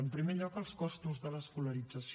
en primer lloc els costos de l’escolarització